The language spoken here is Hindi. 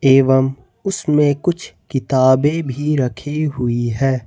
एवंम उसमें कुछ किताबें भी रखी हुई है।